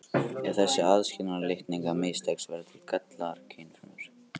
Ef þessi aðskilnaður litninga mistekst verða til gallaðar kynfrumur.